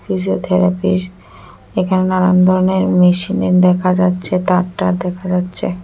Physiotherapy র এখানে নানান ধরনের মেশিন এর দেখা যাচ্ছে তার টার দেখা যাচ্ছে।